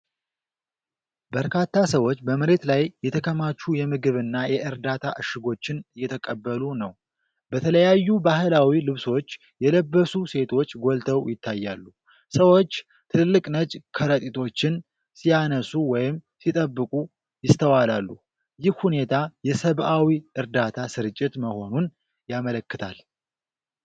በርካታ ሰዎች በመሬት ላይ የተከማቹ የምግብና የእርዳታ እሽጎችን እየተቀበሉ ነው። በተለያዩ ባህላዊ ልብሶች የለበሱ ሴቶች ጎልተው ይታያሉ። ሰዎች ትልልቅ ነጭ ከረጢቶችን ሲያነሱ ወይም ሲጠብቁ ይስተዋላሉ። ይህ ሁኔታ የሰብዓዊ እርዳታ ስርጭት መሆኑን ያመለክታል።